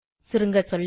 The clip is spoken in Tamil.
சுருங்கசொல்ல